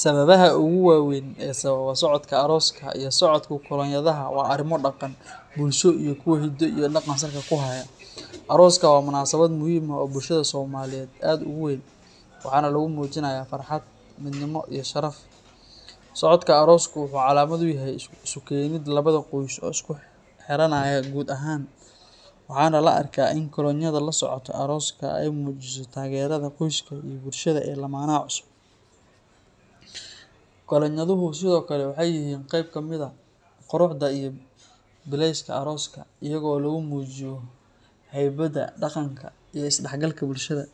Sababaha ugu waaweyn ee sababa socodka arooska iyo socodka kolonyadaha waa arrimo dhaqan, bulsho iyo kuwo hiddo iyo dhaqan salka ku haya. Arooska waa munaasabad muhiim ah oo bulshada Soomaaliyeed aad ugu weyn, waxaana lagu muujinayaa farxad, midnimo iyo sharaf. Socodka arooska wuxuu calaamad u yahay isu keenidda laba qoys oo isku xiranaya guur ahaan, waxaana la arkaa in kolonyada la socota arooska ay muujiso taageerada qoyska iyo bulshada ee lamaanaha cusub. Kolonyaduhu sidoo kale waxay yihiin qayb ka mid ah quruxda iyo billayska arooska, iyaga oo lagu muujiyo haybadda, dhaqanka iyo isdhexgalka bulshada.